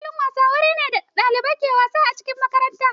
Filin wasa wuri ne da ɗalibai ke wasa a cikin makaranta.